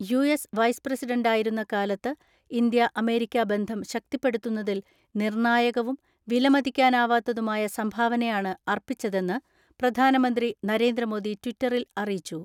US vice പ്രസിഡന്റായിരുന്ന കാലത്ത് India America ബന്ധം ശക്തിപ്പെടുത്തുന്നതിൽ നിർണായകവും വിലമതിക്കാനാവാത്തതുമായ സംഭാവനയാണ് അർപ്പിച്ചതെന്ന് പ്രധാനമന്ത്രി നരേന്ദ്രമോദി ട്വിറ്ററിൽ അറിയിച്ചു.